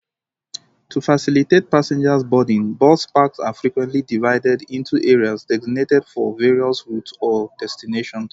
To facilitate passenger boarding, bus parks are frequently divided into areas designated for various routes or destinations.